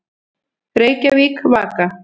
Reykjavík, Vaka.